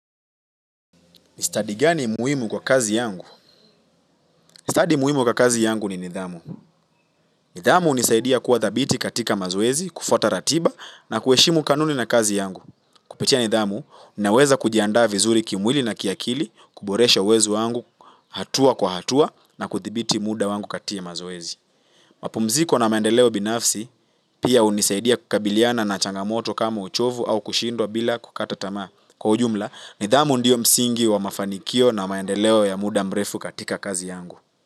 Ni stadi gani muhimu kwa kazi yangu? Stadi muhimu kwa kazi yangu ni nidhamu. Nidhamu hunisaidia kuwa thabiti katika mazoezi, kufwata ratiba na kuheshimu kanuni na kazi yangu. Kupitia nidhamu, ninaweza kujiandaa vizuri kimwili na kiakili, kuboresha uwezo wangu hatua kwa hatua na kuthibiti muda wangu katika mazwezi. Mapumziko na maendeleo binafsi pia hunisaidia kukabiliana na changamoto kama uchovu au kushindwa bila kukata tamaa kwa ujumla nidhamu ndiyo msingi wa mafanikio na maendeleo ya muda mrefu katika kazi yangu.